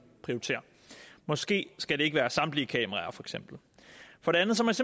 prioritere måske skal det ikke være samtlige kameraer for det andet